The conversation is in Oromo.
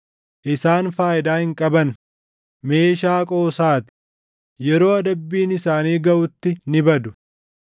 Isaan faayidaa hin qaban; meeshaa qoosaa ti; yeroo adabbiin isaanii gaʼutti ni badu.